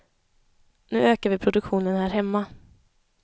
Nu ökar vi produktionen här hemma.